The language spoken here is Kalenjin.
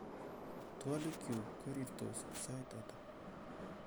twoliik kyuk korirtos sait ata